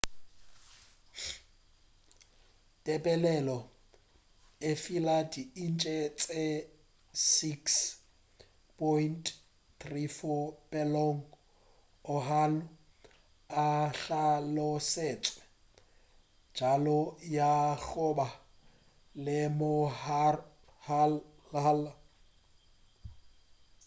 tebelelo e fila di inche tše 6.34 peelong go oahu e hlalosetšwe bjalo ka ya goba le mohola